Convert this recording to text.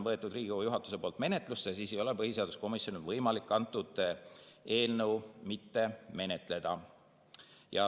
Kuna Riigikogu juhatus on võtnud eelnõu menetlusse, siis ei ole põhiseaduskomisjonil võimalik seda eelnõu mitte menetleda.